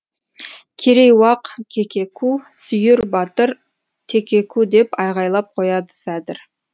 керей уақ кекеку сүйір батыр текеку деп айғайлап қояды сәдір